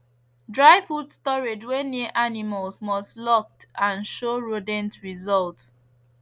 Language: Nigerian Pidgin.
dry food storage wey near animals must locked and show rodent result